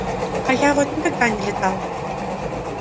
а я вот никогда не летал